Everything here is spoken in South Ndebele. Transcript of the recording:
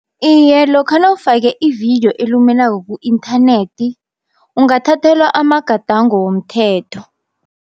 Iye lokha nawufake ividiyo elumelako ku-inthanethi ungathathelwa amagadango womthetho.